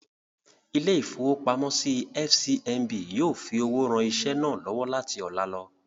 Ilé-ìfowópamọ́sí FCMB yóò fi owó ran iṣẹ́ náà lọ́wọ́ láti ọlá lọ.